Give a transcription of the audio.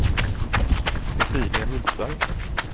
Cecilia Hultberg